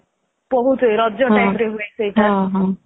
ବହୁତ ହୁଏ ରଜ timeରେ ବହୁତ ହୁଏ ସେଇଟା